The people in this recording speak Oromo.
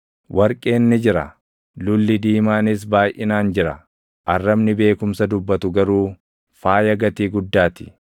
Warqeen ni jira; lulli diimaanis baayʼinaan jira; arrabni beekumsa dubbatu garuu faaya gatii guddaa ti.